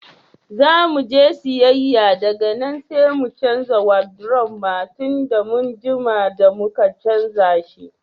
Zo muje siyayya daga nan sai mu canza wadiruf ma tunda mun jima da muka canza shi.